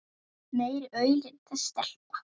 Meiri aulinn þessi stelpa.